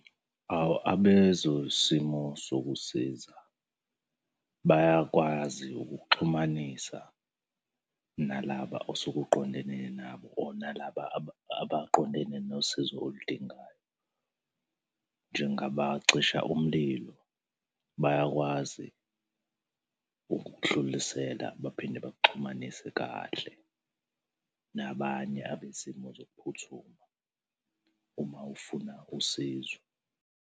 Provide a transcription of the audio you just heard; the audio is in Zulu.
Awu abezosimo sokusiza, bayakwazi ukukuxhumanisa nalaba osuke uqondene nabo or nalaba abaqondene nosizo oludingayo. Njengabacisha umlilo, bayakwazi ukukudlulisela baphinde bakuxhumanise kahle nabanye abezimo zokuphuthuma uma ufuna usizo.